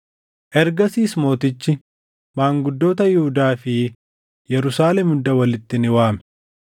Ergasiis mootichi maanguddoota Yihuudaa fi Yerusaalem hunda walitti ni waame.